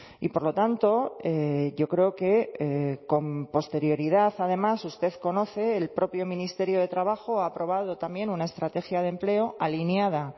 y por lo tanto yo creo que con posterioridad además usted conoce el propio ministerio de trabajo ha aprobado también una estrategia de empleo alineada